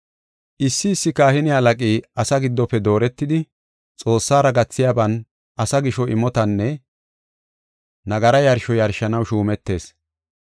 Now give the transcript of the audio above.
Issi issi kahine halaqi asaa giddofe dooretidi, Xoossara gathiyaban asaa gisho imotanne nagara yarsho yarshanaw shuumetees.